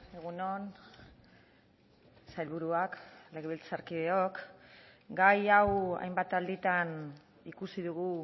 egun on sailburuak legebiltzarkideok gai hau hainbat alditan ikusi dugu